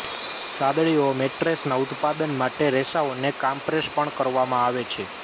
સાદડીઓ મેટ્રેસના ઉત્પાદન માટે રેસાઓને કામ્પ્રેસ પણ કરવામાં આવે છે